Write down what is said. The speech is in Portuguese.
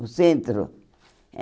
O centro?